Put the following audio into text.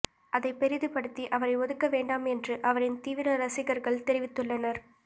அதை பெரிதுபடுத்தி அவரை ஒதுக்க வேண்டாம் என்று அவரின் தீவிர ரசிகர்கள் தெரிவித்துள்ளனர்